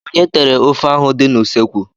Onye tere ofe ahụ dị n'ụsọekwu?